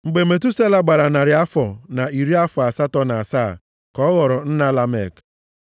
Mgbe Metusela gbara narị afọ na iri afọ asatọ na asaa ka ọ ghọrọ nna Lamek.